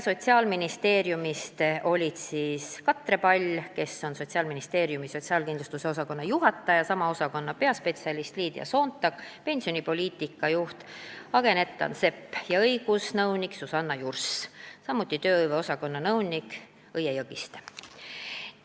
Sotsiaalministeeriumist olid kohal Katre Pall, kes on Sotsiaalministeeriumi sotsiaalkindlustuse osakonna juhataja, sama osakonna peaspetsialist Liidia Soontak, pensionipoliitika juht Agne Nettan-Sepp, õigusnõunik Susanna Jurs ja tööhõive osakonna nõunik Õie Jõgiste.